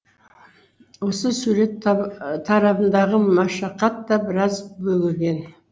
осы сурет тарабындағы машақат та біраз бөгеген